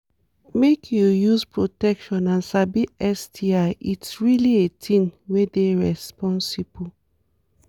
make u use protection and sabi sti it really a thing were dey rensposible